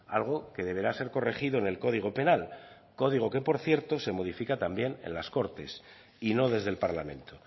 algo que deberá ser corregido en el código penal código que por cierto se modifica también en las cortes y no desde el parlamento